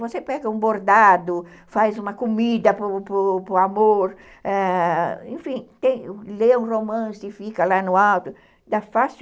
Você pega um bordado, faz uma comida para para o amor, enfim, lê um romance e fica lá no alto,